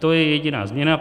To je jediná změna.